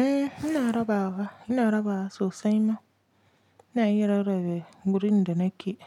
Eh ina rabawa, ina rabawa sosai ma. Ina iya rarrabe wurin da nake